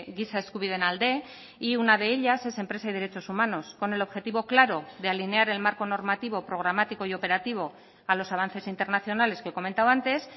giza eskubideen alde y una de ellas es empresa y derechos humanos con el objetivo claro de alinear el marco normativo programático y operativo a los avances internacionales que he comentado antes